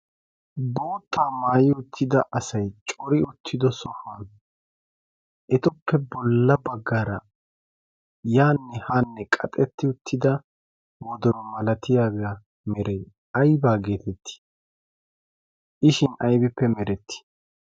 boottaa maayi uttida asay cori uttido sohuwaan etuppe bolla baggaara yaanne haanne qaxxetti uttida wodoro malatiyaage aybaa geettetti? i shin aybippe merettii?